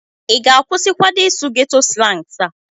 ị ga-akwụsịkwadi ịsụ geto slansi a?